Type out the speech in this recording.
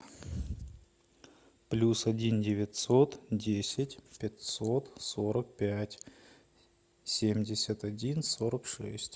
плюс один девятьсот десять пятьсот сорок пять семьдесят один сорок шесть